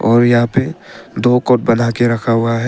और यहां पे दो कोर्ट बना के रखा हुआ है।